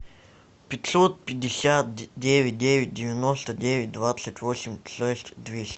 пятьсот пятьдесят девять девять девяносто девять двадцать восемь шесть двести